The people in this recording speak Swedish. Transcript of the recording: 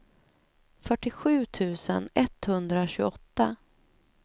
fyrtiosju tusen etthundratjugoåtta